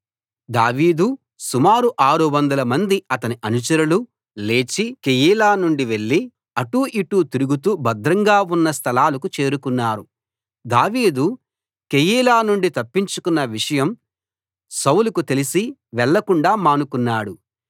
దావీదు సుమారు 600 మంది అతని అనుచరులు లేచి కెయీలా నుండి వెళ్ళి అటూ ఇటూ తిరుగుతూ భద్రంగా ఉన్న స్థలాలకు చేరుకున్నారు దావీదు కెయీలా నుండి తప్పించుకొన్న విషయం సౌలుకు తెలిసి వెళ్లకుండా మానుకున్నాడు